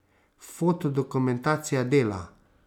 Fotodokumentacija Dela.